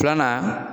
Filanan